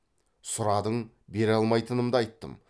сұрадың бере алмайтынымды айттым